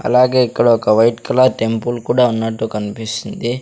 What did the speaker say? అలాగే ఇక్కడ ఒక వైట్ కలర్ టెంపుల్ కూడా ఉన్నట్టు కన్పిస్తుంది.